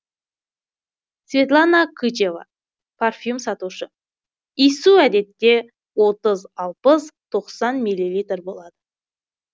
светлана кычева парфюм сатушы иіссу әдетте отыз алпыс тоқсан миллилитр болады